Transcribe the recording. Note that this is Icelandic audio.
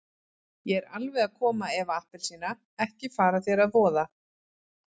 Ég er alveg að koma Eva appelsína, ekki fara þér að voða.